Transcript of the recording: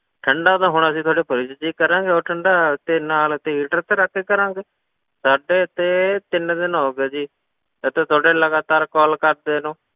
ਠੰਢਾ ਤਾਂ ਹੁਣ ਅਸੀਂ ਸਾਡੇ fridge ਵਿੱਚ ਹੀ ਕਰਾਂਗੇ ਹੋਰ ਠੰਢਾ ਤੇ ਨਾਲ ਅਸੀਂ heater ਤੇ ਰੱਖ ਕੇ ਕਰਾਂਗੇ, ਸਾਡੇ ਇੱਥੇ ਤਿੰਨ ਦਿਨ ਹੋ ਗਏ ਜੀ, ਇੱਥੇ ਤੁਹਾਡੇ ਲਗਾਤਾਰ call ਕਰਦੇ ਨੂੰ,